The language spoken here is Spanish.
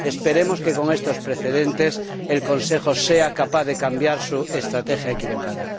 Esperemos que, con estos precedentes, el Consejo sea capaz de cambiar su estrategia equivocada.